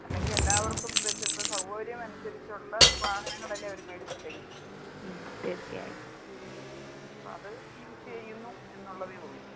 അല്ലെങ്കി എല്ലാവർക്കും ബസ് ഇപ്പൊ സൗകര്യം അനുസരിച്ച് ഉള്ള വാഹനങ്ങളല്ലേ അവര് മേടിച്ചിട്ടേക്കുന്നത്. അപ്പൊ അത് യൂസ് ചെയ്യുന്നു എന്നുള്ളതേ ഉള്ളൂ.